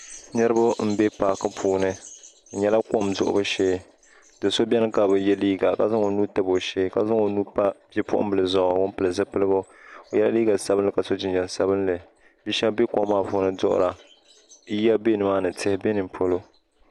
niriba m-be paaki puuni di nyɛla kom duɣibu shee do' so beni ka bi ye liiga ka zaŋ o nuu n-tabi o shee ka zaŋ o nuu m-pa bipuɣimbila zuɣu ŋun pili zipiligu o yela liiga sabinli ka so jinjam sabinli bi' shaba be kom maa puuni duɣira yiya be ni maa ni tihi be ni polo